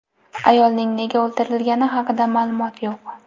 Ayolning nega o‘ldirilgani haqida ma’lumot yo‘q.